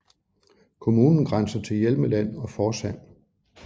Kommunen grænser til Hjelmeland og Forsand